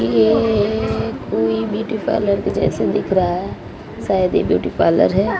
ये कोई beauty parlour जैसे दिख रहा है शायद ये ब्यूटी पार्लर है।